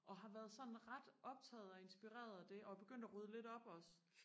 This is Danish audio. og har været sådan ret optaget og inspireret af det og er begyndt og rydde lidt op også